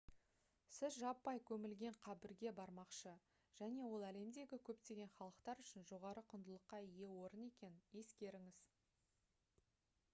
сіз жаппай көмілген қабірге бармақшы және ол әлемдегі көптеген халықтар үшін жоғары құндылыққа ие орын екенін ескеріңіз